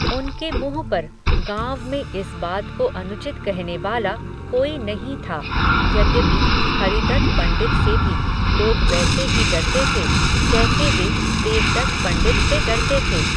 उनके मुँह पर, गाँव में इस बात को अनुचित कहने वाला, कोई नहीँ था, यद्यपि, हरिदत्त पण्डित से भी, लोग वैसे ही डरते थे, जैसे वे, देवदत्त पण्डित से डरते थे